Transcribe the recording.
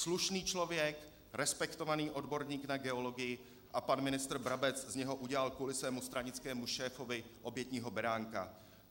Slušný člověk, respektovaný odborník na geologii - a pan ministr Brabec z něho udělal kvůli svému stranickému šéfovi obětního beránka.